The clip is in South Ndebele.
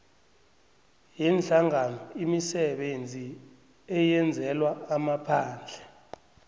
yeenhlanganoimisebenzi eyenzelwa amaphandle